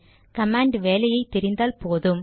command வேலையை தெரிந்தால் போதும்